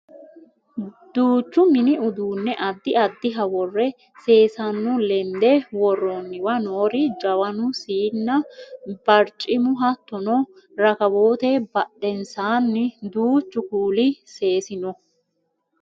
Duuchs mini uduunne addi addiha worre seesano lende worroonniwa noori jawanu siinna barcimu hattono rakawoote badhensaanni danchu kuuli seesi no